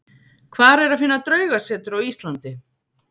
Hvar er að finna draugasetur á Íslandi?